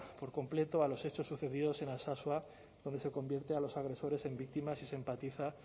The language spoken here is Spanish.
por completo a los hechos sucedidos en alsasua donde se convierte a los agresores en víctimas y se empatiza